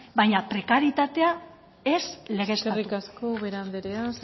baina prekarietatea ez legeztatu eskerrik asko ubera anderea san josé andrea